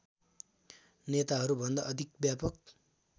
नेताहरूभन्दा अधिक व्यापक